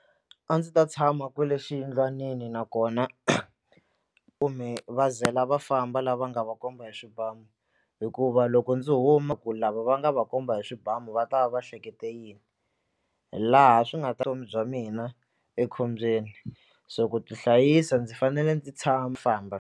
A ndzi ta tshama kwale xiyindlwanini nakona kumbe va ze la va famba lava nga va komba hi swibamu hikuva loko ndzi huma ku lava va nga va komba hi swibamu va ta va va ehlekete yini hi laha swi nga ta vutomi bya mina ekhombyeni so ku tihlayisa ndzi fanele ndzi famba.